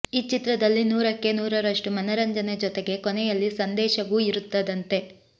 ಈ ಚಿತ್ರದಲ್ಲಿ ನೂರಕ್ಕೆ ನೂರರಷ್ಟು ಮನರಂಜನೆ ಜೊತೆಗೆ ಕೊನೆಯಲ್ಲಿ ಸಂದೇಶವೂ ಇರುತ್ತದಂತೆ